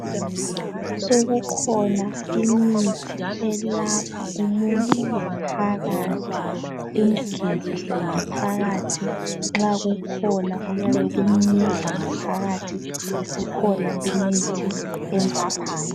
Sokukhona imithi elapha umuntu ngaphakathi imgezise ngaphakathi, nxa kukhona okuyabe kumudla ngaphakathi isikhona imithi emlaphayo.